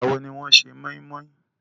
Ìgbàwo ni wọ́n se moinmoin?